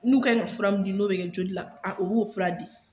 N'u kaɲi ka fura mun di n'o be kɛ joli la, a u b'o fura di.